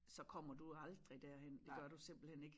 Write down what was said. Så kommer du jo aldrig derhen det gør du simpelthen ik